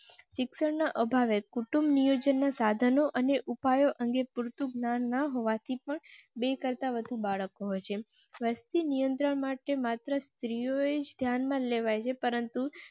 શિક્ષણ ના અભાવે કુટુંબ નિયોજનના સાધનો અને ઉપાયો અંગે પૂરતું ધ્યાન ન હોવા થી પણ બે કરતા વધુ બાળકો છે. વસ્તી નિયંત્રણ માટે માત્ર સ્ત્રી જ ધ્યાન માં લેવાય છે, પરંતુ